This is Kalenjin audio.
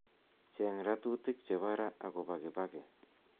cheng' ratutik chebo raa chebo agopo kibaki